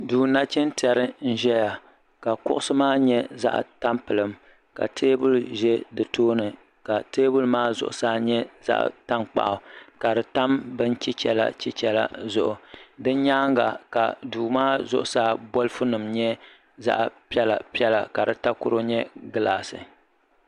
Duu nachintɛri n ʒɛya ka kuɣusi maa nyɛ zaɣa tampilim teebuli ʒɛ ya ka teebuli maa zuɣusaa nyɛ zaɣa tankpaɣu ka di tam bin chichela chichela zuɣu di nyaanga ka duu maa zuɣusaa bolfu nima nyɛ zaɣa piɛla piɛla la di takoro nyɛ gilaasi.